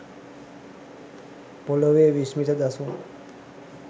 පොළොවේ විස්මිත දසුන්